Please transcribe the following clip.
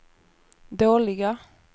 dåliga